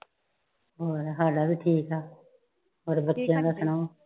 ਸਾਡਾ ਵੀ ਠੀਕ ਆ ਔਰ ਬੱਚਿਆਂ ਦਾ ਸੁਣਾਓ